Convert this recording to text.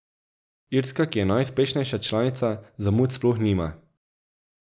Irska, ki je najuspešnejša članica, zamud sploh nima.